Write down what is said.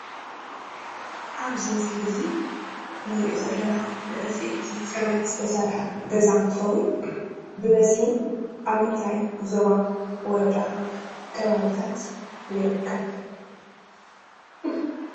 አብዚ ምስሊ እዚ እንሪኦ ዘለና ብዕንፅይቲ ፅርበት ዝተሰርሐ ገዛ እንትኸውን ብበዝሒ አብ ምንታይ ዞባ ወረዳ ከባብታት ይርከብ?